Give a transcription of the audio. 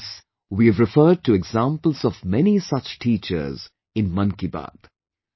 Yes, we have referred to examples of many such teachers in 'Mann Ki Baat'